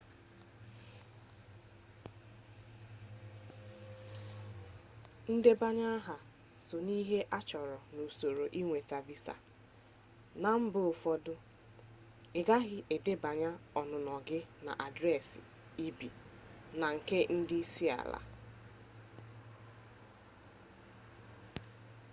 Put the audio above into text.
ndebanye aha so n'ihe a na-achọ n'usoro ịnweta visa na mba ụfọdụ ị ghaghị ịdebanye ọnụnọ gị na adresi ebe i bi na nke ndị isi ala